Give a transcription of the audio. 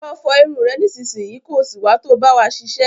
Lọ fọ irun rẹ nísinsìnyí, ko sì wá to bá wa ṣiṣẹ́.